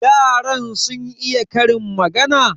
yaran sun iya Karin magana?